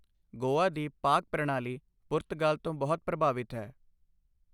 ਗੋਆ ਦੀ ਪਾਕ ਪ੍ਰਣਾਲੀ ਪੁਰਤਗਾਲ ਤੋਂ ਬਹੁਤ ਪ੍ਰਭਾਵਿਤ ਹੈ।